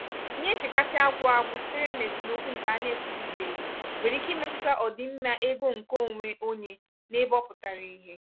ihe nchekasị agwụ-agwụ sitere n'esemokwu nke ana-ekwuzibeghị nwèrè ike ịmetụta ọdịmma ego nke onwe onye n'ebe ọ pụtara ihe.